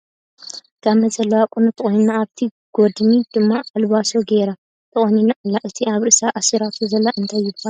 ጋመ ዘለዋ ቁኖ ተቆኒና ኣብ ቲ ጎድኒ ድማ ኣልባሶ ገይራ ተቆኒና ኣላ ። እቲ ኣብ ርእሳ ኣሲራቶ ዘላ እንታይ ይባሃል ?